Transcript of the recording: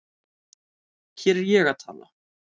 Hér er ég að tala